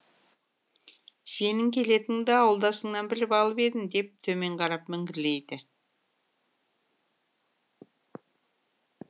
сенің келетініңді ауылдасыңнан біліп алып едім деп төмен қарап міңгірлейді